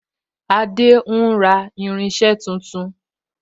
Adé ń ra irinse tuntun